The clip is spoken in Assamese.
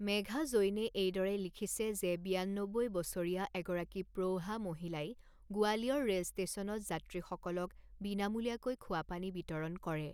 মেঘা জৈনে এইদৰে লিখিছে যে বিয়ান্নব্বৈ বছৰীয়া এগৰাকী প্ৰৌঢ়া মহিলাই গোৱালিয়ৰ ৰে'ল ষ্টেচনত যাত্ৰীসকলক বিনামূলীয়াকৈ খোৱা পানী বিতৰণ কৰে।